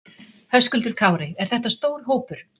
Höskuldur Kári: Er þetta stór hópur?